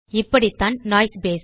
இப்படிதான் noise basis